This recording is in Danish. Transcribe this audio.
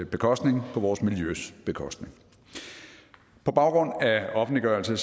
bekostning på vores miljøs bekostning på baggrund af offentliggørelse